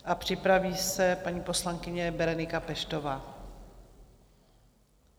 A připraví se paní poslankyně Berenika Peštová.